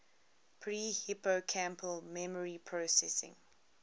pre hippocampal memory processing